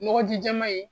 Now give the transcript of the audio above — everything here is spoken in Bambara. Nɔgɔ ji jɛman in